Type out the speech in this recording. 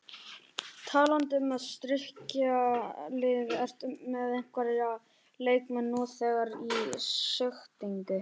Talandi um að styrkja liðið, ertu með einhverja leikmenn nú þegar í sigtinu?